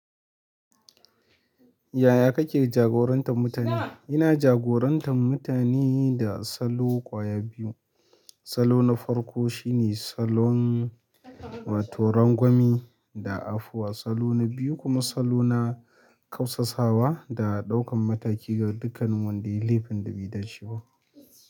Yaya kake jagorantar mutane? Ina jagorantar mutane da salo ƙwaya biyu. Salo na farko shine salon wato rangwame da afuwa. Salo na biyu kuma salo na kau sasawa da ɗaukan mataki ga dukkanin wada yayi laifin da bai dace ba.